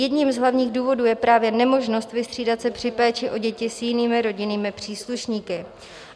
Jedním z hlavních důvodů je právě nemožnost vystřídat se při péči o děti s jinými rodinnými příslušníky.